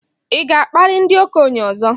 Ị ga-akparị ndị okenye ọzọ?